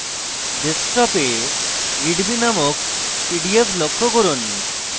ডেস্কটপে readme named pdf লক্ষ্য করুন